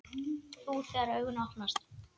Þú, þegar augu opnast.